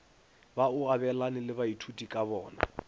ba o abelane le baithutikabona